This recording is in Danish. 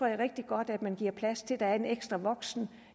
er rigtig godt man giver plads til at der er en ekstra voksen